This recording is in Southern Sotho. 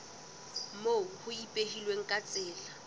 moo ho ipehilweng ka tsela